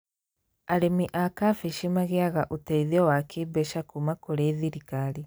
Arĩmi a kambĩji magĩaga ũteithio wa kĩmbeca kuma kũri thirikari